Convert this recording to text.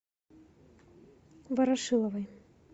ворошиловой